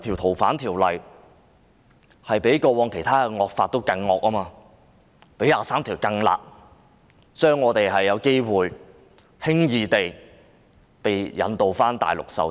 《逃犯條例》較以往其他惡法更"惡"，亦較《基本法》第二十三條更"辣"，我們或許會輕易地被引渡到內地受審。